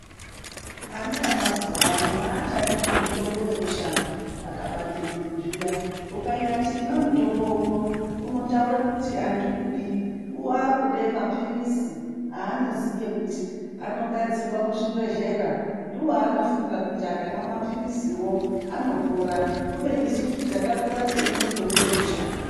Ana emazuwa ano aachadi zvemitombo yemushango, akapande mwiri zviya. Ukanyati imwa mutombo uno, unotaure kuti andiudi. Waakude mapirizi, aanoziye kuti anogadzirwa muzvibhedhlera, ndiwo aanofunga kuti akamwa mapiriziwo anopora, kubeni isusu takakura teimwe mitombo yemushango.